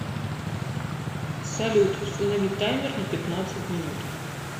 салют установи таймер на пятнадцать минут